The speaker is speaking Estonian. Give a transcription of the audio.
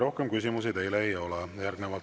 Rohkem küsimusi teile ei ole.